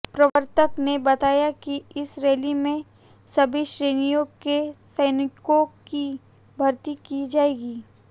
प्रवक्ता ने बताया कि इस रैली में सभी श्रेणियों के सैनिकों की भर्ती की जायेगी